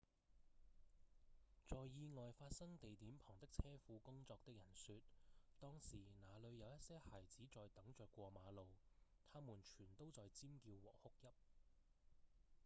在意外發生地點旁的車庫工作的人說：「當時那裡有一些孩子在等著過馬路他們全都在尖叫和哭泣」